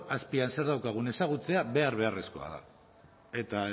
azpian zer daukagun ezagutzea behar beharrezkoa eta